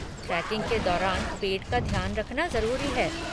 Trekking के दौरान पेट का ध्यान रखना ज़रूरी है।